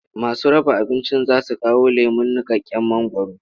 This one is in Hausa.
Masu raba abincin za su kawo lemon niƙaƙƙen mangwaro.